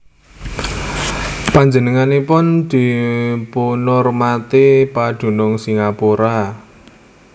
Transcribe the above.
Panjenenganipun dipunurmati padunung Singapura